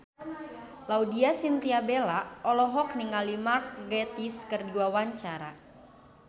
Laudya Chintya Bella olohok ningali Mark Gatiss keur diwawancara